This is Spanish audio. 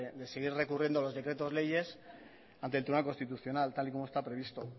de seguir recurriendo a los decretos leyes ante el tribunal constitucional tal y como está previsto